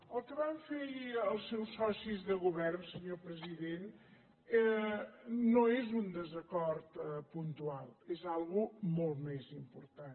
el que van fer ahir els seus socis de govern senyor president no és un desacord puntual és alguna cosa molt més important